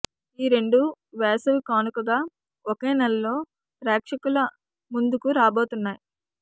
ఈ రెండూ వేసవి కానుకగా ఒకే నెలలో ప్రేక్షకుల ముందుకు రాబోతున్నాయి